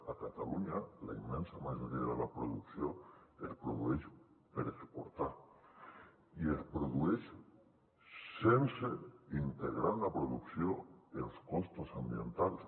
a catalunya la immensa majoria de la producció es produeix per exportar i es produeix sense integrar en la producció els costos ambientals